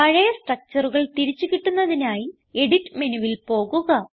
പഴയ structureകൾ തിരിച്ച് കിട്ടുന്നതിനായി എഡിറ്റ് മെനുവിൽ പോകുക